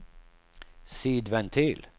sidventil